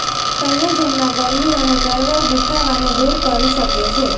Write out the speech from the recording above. સંયોજનમાં ગરમી અને ચળવળ દુખાવાને દૂર કરી શકે છે